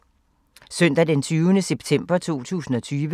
Søndag d. 20. september 2020